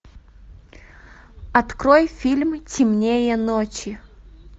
открой фильм темнее ночи